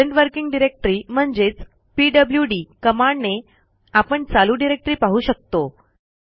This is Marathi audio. प्रेझेंट वर्किंग डायरेक्टरी म्हणजेचpwd कमांडने आपण चालू डिरेक्टरी पाहू शकतो